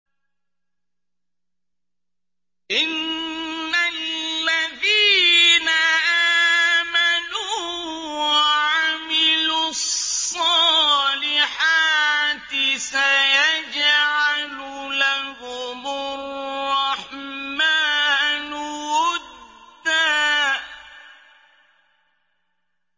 إِنَّ الَّذِينَ آمَنُوا وَعَمِلُوا الصَّالِحَاتِ سَيَجْعَلُ لَهُمُ الرَّحْمَٰنُ وُدًّا